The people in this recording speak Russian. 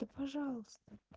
да пожалуйста